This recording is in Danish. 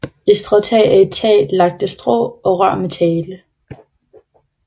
Et stråtag er et tag lagt af strå og rør materiale